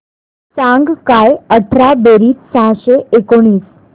सांग काय अठरा बेरीज सहाशे एकोणीस